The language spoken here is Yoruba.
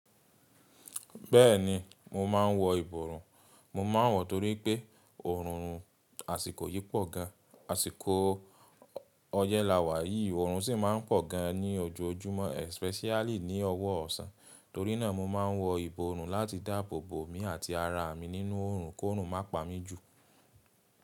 Bẹ́ẹ̀ni mo máa ń wọ ìborùn. Mo ma n wọ torí pé oorun àsìkò yí pọ̀ gan. Àsìkò ọyẹ́ lawá yìí oorun sì máa ń pọ̀ gan ní ojoojúmọ́ especially ní ọwọ́ ọ̀sán. Torí náà mo ma ń wọ ìborùn láti dáàbò bò mí àti ara mi nínú oorun kó oorun má pa mí jù.